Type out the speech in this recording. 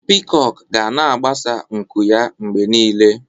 Pịkok ga na-agbasa nku ya mgbe niile.